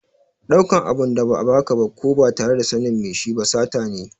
Ɗaukan abin da ba a ba ka ba ko ba tare da sanin mai shi ba sata ne.